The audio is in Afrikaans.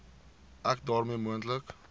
ek daarmee moontlike